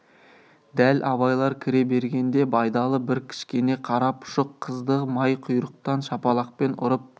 дәл абайлар кіре бергенде байдалы бір кішкене қара пұшық қызды май құйрықтан шапалақпен ұрып